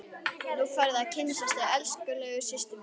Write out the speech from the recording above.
Nú færðu að kynnast þessari elskulegu systur minni!